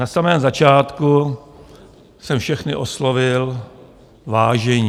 Na samém začátku jsem všechny oslovil Vážení.